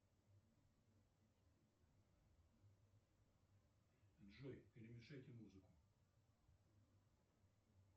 джой перемешайте музыку